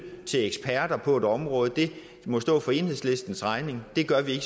til eksperter på et område må stå for enhedslistens regning det gør vi